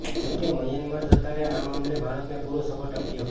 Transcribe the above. જો કે મ્યાનમાર સરકારે આ મામલે ભારતને પૂરો સપોર્ટ આપ્યો